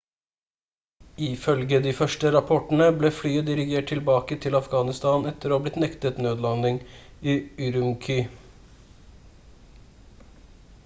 ifølge de første rapportene ble flyet dirigert tilbake til afghanistan etter å ha blitt nektet nødlanding i ürümqi